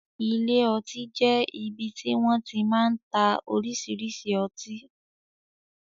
Ilé ọtí jẹ ibì ti wọn ti máa ń tá oríṣiríṣi ọtí